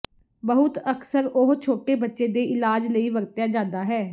ਬਹੁਤ ਅਕਸਰ ਉਹ ਛੋਟੇ ਬੱਚੇ ਦੇ ਇਲਾਜ ਲਈ ਵਰਤਿਆ ਜਾਦਾ ਹੈ